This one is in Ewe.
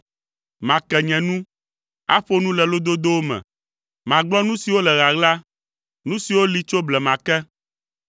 Make nye nu, aƒo nu le lododowo me. Magblɔ nu siwo le ɣaɣla, nu siwo li tso blema ke.